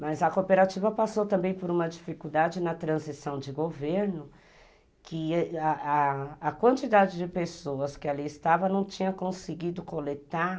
Mas a cooperativa passou também por uma dificuldade na transição de governo, que a a a a quantidade de pessoas que ali estavam não tinha conseguido coletar